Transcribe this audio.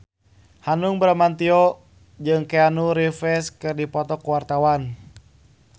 Hanung Bramantyo jeung Keanu Reeves keur dipoto ku wartawan